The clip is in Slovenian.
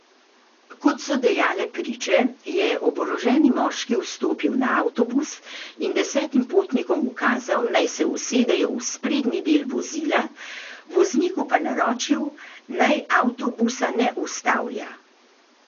Kot so dejale priče, je oboroženi moški vstopil na avtobus in desetim potnikom ukazal, naj se usedejo v sprednji del vozila, vozniku pa naročil, naj avtobusa ne ustavlja.